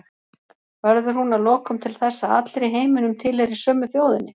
Verður hún að lokum til þess að allir í heiminum tilheyri sömu þjóðinni?